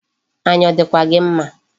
Anya ọ dịkwa gị mma?